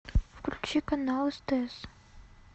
включи канал стс